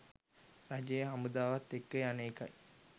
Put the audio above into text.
රජයේ හමුදාවත් එක්ක යන එකයි.